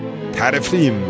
Tərifləyin məni.